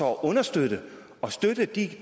understøtte og støtte de